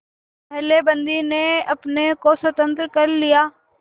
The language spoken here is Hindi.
पहले बंदी ने अपने को स्वतंत्र कर लिया